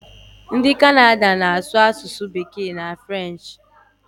Ndị Kanada na-asụ asụsụ bekee na frenchị